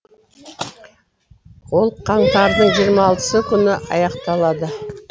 ол қаңтардың жиырма алтысы күні аяқталады